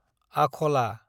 आखला